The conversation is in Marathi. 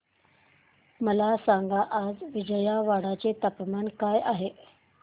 मला सांगा आज विजयवाडा चे तापमान काय आहे